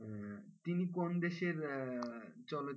আহ তিনি কোন দেশের আহ চল,